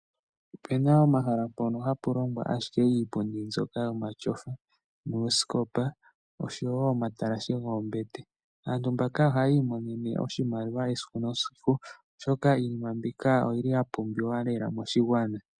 Ope na omahala mpono hapu longwa ashike iipundi mbyoka yomatyofa noosikopa nosho wo omatalashe goombete. Aantu mbaka ohaya imonene oshimaliwa esiku nesiku, oshoka iinima mbika oyi li ya pumbiwa lela moshigwana.